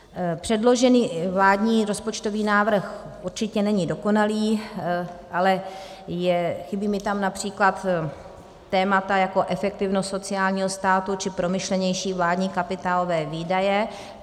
Předložený vládní rozpočtový návrh určitě není dokonalý, ale chybí mi tam například témata jako efektivnost sociálního státu či promyšlenější vládní kapitálové výdaje.